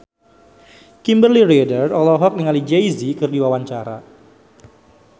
Kimberly Ryder olohok ningali Jay Z keur diwawancara